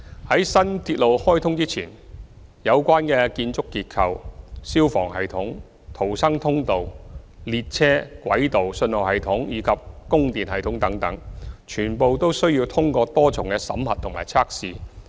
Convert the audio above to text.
在新鐵路開通前，有關的建築結構、消防系統、逃生通道、列車、軌道、信號系統及供電系統等，全部都需要通過多重審核及測試。